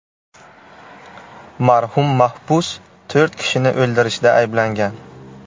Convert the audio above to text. Marhum mahbus to‘rt kishini o‘ldirishda ayblangan.